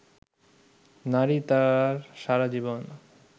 নারী তার সারা জীবন